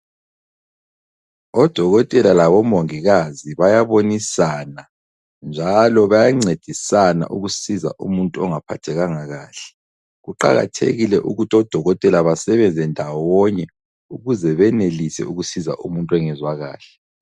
Odokotela labomongikazi bayabonisana njalo bayancedisana ukusiza umuntu ongaphathekanga kahle. Kuqakathekile ukuthi odokotela basebenze ndawonye ukuze benelise ukusiza umuntu ongezwa kahle.